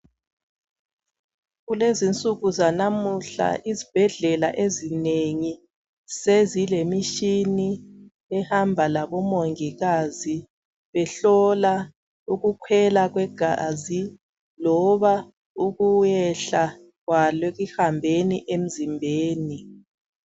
Kunsuku zanamuhla izibhedlela ezinengi sezilemitshina ehamba labomongikazi behlola ukukhwela kwegazi loba ukuyehla kwalo ekuhambeni emzimbeni.